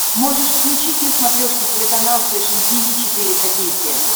можешь включить на смотрешке телеканал фэшн ти ви четыре ка